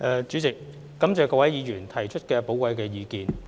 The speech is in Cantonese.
主席，感謝各位議員提出的寶貴意見。